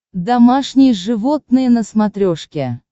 домашние животные на смотрешке